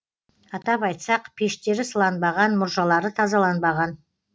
атап айтсақ пештері сыланбаған мұржалары тазаланбаған